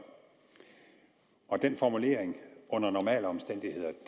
formuleringen under normale omstændigheder